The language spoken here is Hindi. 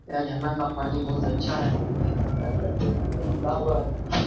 यह झरना का पानी बहुत अच्छा है हुआ है।